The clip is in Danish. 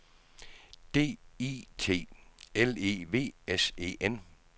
D I T L E V S E N